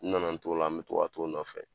N nana n t'o la n be to ka t'o nɔfɛ